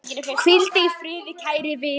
Hvíldu í friði, kæri vinur.